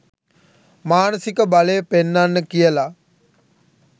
මානසික බලය පෙන්නන්න කියල.